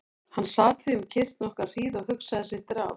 Hann sat því um kyrrt nokkra hríð og hugsaði sitt ráð.